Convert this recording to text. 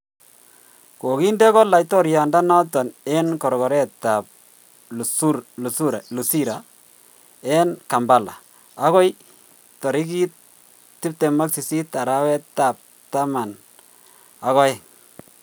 Koginde go laitoriandanoton en gorgoretap luzira en kampala agoi taigit 28 arawet ap tama ag oeng.